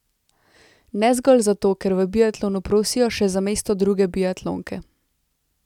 Ne zgolj zato, ker v biatlonu prosijo še za mesto druge biatlonke.